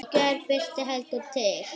Í gær birti heldur til.